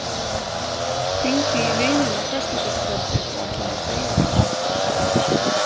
Hringdi í vininn á föstudagskvöldið og ætlaði að segja honum allt.